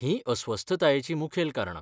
हींअस्वस्थतायेचीं मुखेल कारणां.